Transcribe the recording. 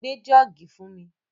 Gbé jọ́ọ̀gì fún mi!